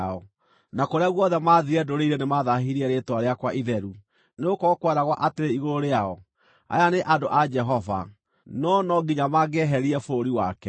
Na kũrĩa guothe maathiire ndũrĩrĩ-inĩ nĩmathaahirie rĩĩtwa rĩakwa itheru, nĩgũkorwo kweragwo atĩrĩ igũrũ rĩao, ‘Aya nĩ andũ a Jehova, no no nginya maangĩeherire bũrũri wake.’